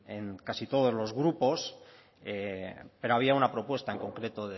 en casi todos los grupos pero había una propuesta en concreto